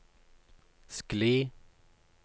skli